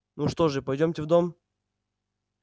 ну что же пойдёмте в дом